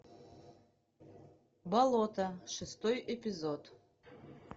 болото шестой эпизод